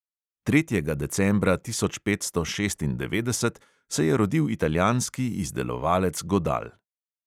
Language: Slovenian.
Tretjega decembra tisoč petsto šestindevetdeset se je rodil italijanski izdelovalec godal.